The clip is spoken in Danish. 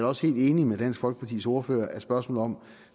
også helt enig med dansk folkepartis ordfører i at spørgsmålet om